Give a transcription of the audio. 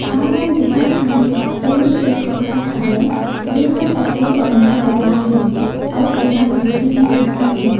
हमन देखत हन एमेर एक ठो घर हवय जेन ह सफेद रंग म पोताए हे अऊ एमा खिड़की भी दिखत हे।